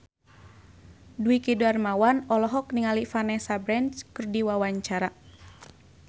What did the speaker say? Dwiki Darmawan olohok ningali Vanessa Branch keur diwawancara